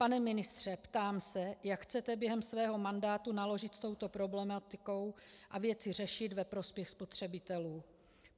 Pane ministře, ptám se, jak chcete během svého mandátu naložit s touto problematikou a věci řešit ve prospěch spotřebitelů.